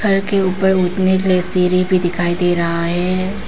घर के ऊपर उठने के लिए सीढ़ी भी दिखाई दे रहा है।